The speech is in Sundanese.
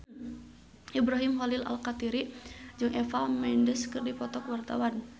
Ibrahim Khalil Alkatiri jeung Eva Mendes keur dipoto ku wartawan